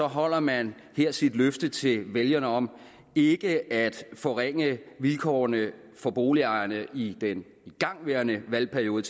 holder man her sit løfte til vælgerne om ikke at forringe vilkårene for boligejerne i den igangværende valgperiode